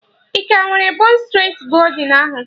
Ị ka nwere bon streti goldin ahụ?